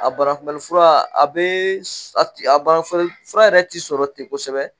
A banakunbɛnnifura a bɛ a a banakunbɛnnifura yɛrɛ tɛ sɔrɔ ten kosɛbɛ